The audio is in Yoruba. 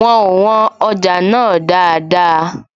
Wọn ò wọn ọjà náà dáadáa